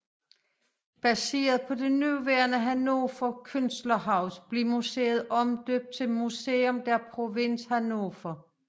Baseret på det nuværende Hannover Künstlerhaus blev museet omdøbt til Museum der Provinz Hannover